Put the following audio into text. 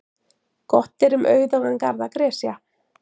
Gott er um auðugan garð að gresja.